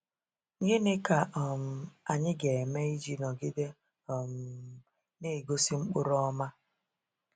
Gịnị ka um anyị ga-eme iji nọgide um na-egosi mkpụrụ ọma?